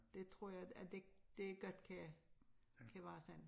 Det tror jeg at det det godt kan kan være sådan